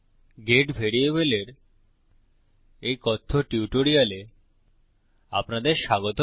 gate ভ্যারিয়েবলের এই কথ্য টিউটোরিয়ালে আপনাদের স্বাগত